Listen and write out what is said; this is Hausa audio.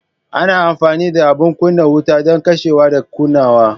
Ana amfani da abin kunna wuta don kashewa da kunnawa.